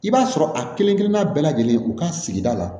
I b'a sɔrɔ a kelen kelenna bɛɛ lajɛlen u ka sigida la